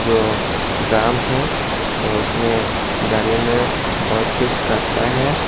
जो ड्राम है तो उसने गाड़ी में बहुत कुछ करता है।